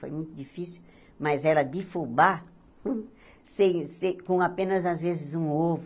Foi muito difícil, mas era de fubá hum sem sem com apenas, às vezes, um ovo.